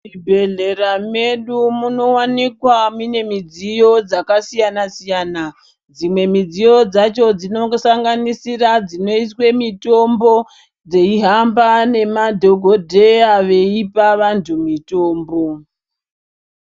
Muzvibhedhleya medu munowanikwa mune midziyo dzakasiyana siyana dzimwe midziyo dzacho dzinongosanganisira dzinoiswa mitombo dzeihamba nemadhokodheya eipa vantu mitombo.